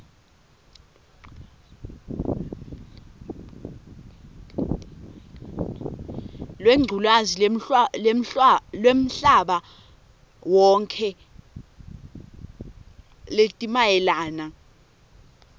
lwengculazi lwemhlabawonkhe letimayelana